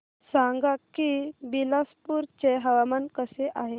सांगा की बिलासपुर चे हवामान कसे आहे